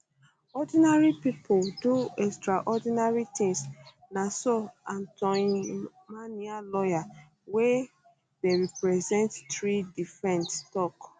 ordinary pipo do extraordinary tins na so antoine minier lawyer wey wey dey represent three defendants tok